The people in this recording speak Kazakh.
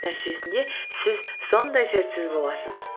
нәтижесінде сіз сондай сәтсіз боласыз